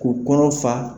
K'u kɔnɔ fa